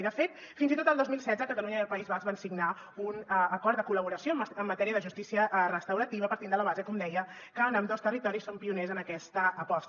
i de fet fins i tot el dos mil setze catalunya i el país basc van signar un acord de col·laboració en matèria de justícia restaurativa partint de la base com deia que en ambdós territoris som pioners en aquesta aposta